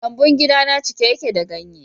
Lambun gidana cike yake da ganye.